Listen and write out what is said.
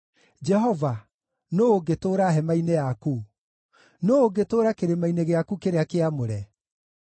Jehova, nũũ ũngĩtũũra hema-inĩ yaku? Nũũ ũngĩtũũra kĩrĩma-inĩ gĩaku kĩrĩa kĩamũre?